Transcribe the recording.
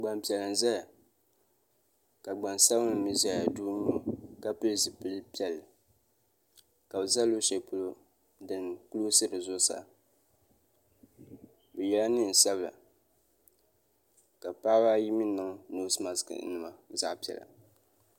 Gban piɛla n ʒaya. ka gban sabinli mi gba ʒaya ka pili zipilisabinli . kabi ʒa luɣi shɛli pɔlɔ din klɔsi bi zuɣu saa bɛ yela neen' sabila ka paɣaba ayi miniŋ nosemas nima zaɣi piɛla.